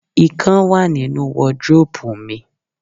Ikán wà nínu wọdróòpù mi.